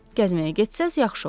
Gəzməyə getsəz yaxşı olar.